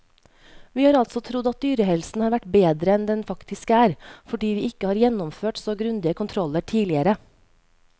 Vi har altså trodd at dyrehelsen har vært bedre enn den faktisk er, fordi vi ikke har gjennomført så grundige kontroller tidligere.